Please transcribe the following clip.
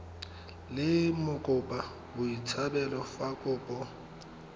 le mokopa botshabelo fa kopo